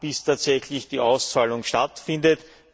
bis tatsächlich die Auszahlung stattfindet.